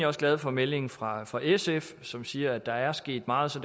også glad for meldingen fra fra sf som siger at der er sket meget så